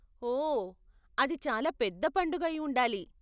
ఓ, అది చాలా పెద్ద పండగ అయి ఉండాలి.